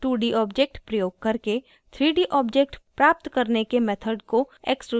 2d object प्रयोग करके 3d object प्राप्त करने के method को extrusion कहते हैं